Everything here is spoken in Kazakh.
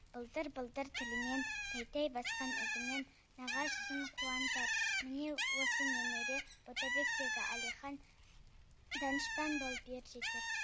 былдыр былдыр тілімен тәй тәй басқан ізімен нағашысын қуантар міне осы немере ботабектегі әлихан данышпан болып ер жетер